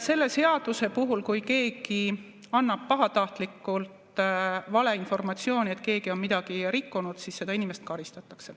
Selle seaduse puhul, kui keegi annab pahatahtlikult valeinformatsiooni, et keegi on midagi rikkunud, siis seda inimest karistatakse.